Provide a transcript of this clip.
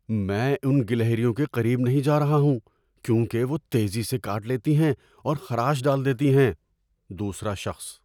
میں ان گلہریوں کے قریب نہیں جا رہا ہوں کیونکہ وہ تیزی سے کاٹ لیتی ہیں اور خراش ڈال دیتی ہیں۔ (دوسرا شخص)